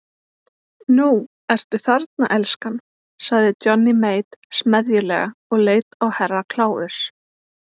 Nú ertu þarna elskan, sagði Johnny Mate smeðjulega og leit á Herra Kláus.